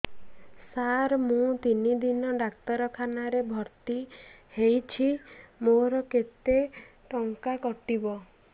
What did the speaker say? ସାର ମୁ ତିନି ଦିନ ଡାକ୍ତରଖାନା ରେ ଭର୍ତି ହେଇଛି ମୋର କେତେ ଟଙ୍କା କଟିବ